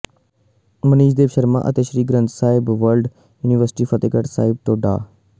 ਮਨੀਸ ਦੇਵ ਸ਼ਰਮਾ ਅਤੇ Sri Guru Granth Sahib world university Fatehgarh Sahib ਤੋਂ ਡਾ